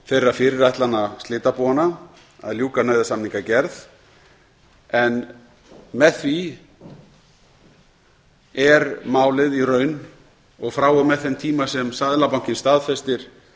þeirra fyrirætlana slitabúanna að ljúka nauðasamningagerð en með því er málið í raun og frá og með þeim tíma sem seðlabankinn staðfestir